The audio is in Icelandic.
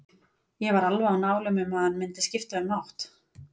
Ég var alveg á nálum um að hann mundi skipta um átt.